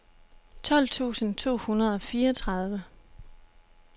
tolv tusind to hundrede og fireogtredive